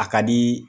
A ka di